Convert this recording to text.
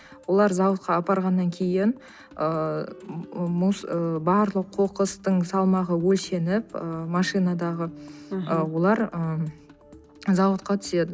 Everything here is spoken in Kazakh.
олар зауытқа апарғаннан кейін ыыы ы барлық қоқыстың салмағы өлшеніп ы машинадағы мхм олар ы зауытқа түседі